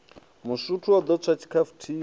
masutu o ḓo tswa tshikhafuthini